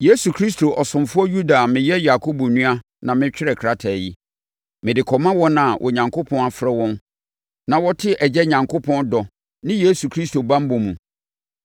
Yesu Kristo ɔsomfoɔ Yuda a meyɛ Yakobo nua na metwerɛɛ krataa yi, Mede kɔma wɔn a Onyankopɔn afrɛ wɔn na wɔte Agya Onyankopɔn dɔ ne Yesu Kristo banbɔ mu: